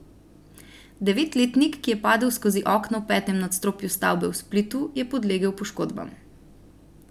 Devetletnik, ki je padel skozi okno v petem nadstropju stavbe v Splitu, je podlegel poškodbam.